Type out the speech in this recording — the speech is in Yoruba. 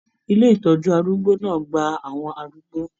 ilé ìtọjú arúgbó náà gbà àwọn arúgbó.